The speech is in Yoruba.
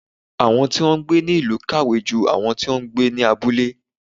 Awọn ti ń gbé ni ilu kàwé jú àwọn ti ń gbé ní abúlé